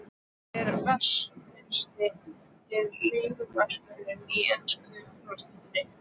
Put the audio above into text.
Hver er vanmetnasti leikmaðurinn í ensku úrvalsdeildinni?